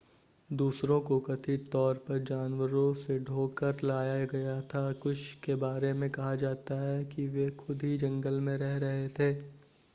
दूसरों को कथित तौर पर जानवरों से ढोकर लाया गया था कुछ के बारे में कहा जाता है कि वे खुद ही जंगल में रह रहे थे